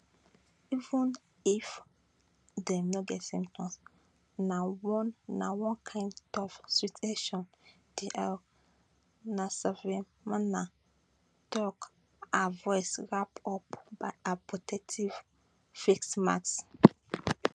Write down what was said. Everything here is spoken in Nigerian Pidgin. even if dem no get symptoms na one na one kind tough situation nsavyimana tok her voice wrap up by her protective face mask